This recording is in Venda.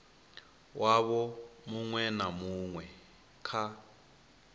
wavho muṅwe na muṅwe kha